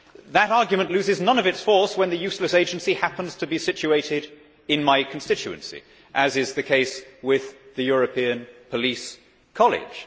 That argument loses none of its force when the useless agency happens to be situated in my constituency, as is the case with the European Police College.